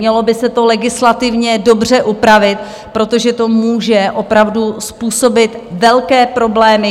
Mělo by se to legislativně dobře upravit, protože to může opravdu způsobit velké problémy.